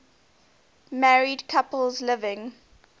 married couples living